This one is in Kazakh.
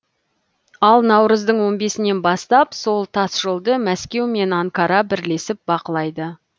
ал наурыздың он бесінен бастап сол тасжолды мәскеу мен анкара бірлесіп бақылайды